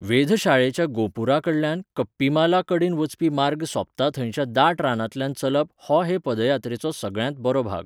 वेधशाळेच्या गोपुरां कडल्यान कप्पीमाला कडेन वचपी मार्ग सोंपता थंयच्या दाट रानांतल्यान चलप हो हे पदयात्रेचो सगळ्यांत बरो भाग.